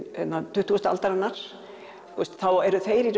tuttugustu aldarinnar þá eru þeir í